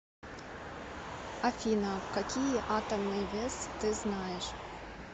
афина какие атомный вес ты знаешь